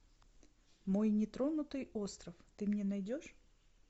мой нетронутый остров ты мне найдешь